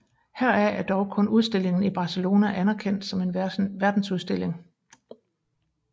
Heraf er dog kun udstillingen i Barcelona anerkendt som en verdensudstilling